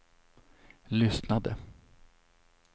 lyssnade